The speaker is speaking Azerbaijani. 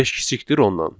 5 < 10-dan?